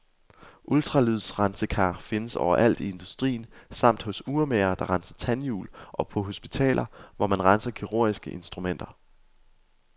Ultralydsrensekar findes overalt i industrien samt hos urmagere, der renser tandjul, og på hospitaler hvor man renser kirurgiske instrumenter.